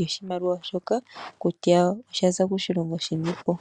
yoshimaliwa shoka kutya osha za koshilongo shini po.